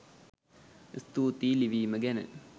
ස්තුතියි ලිවිම ගැන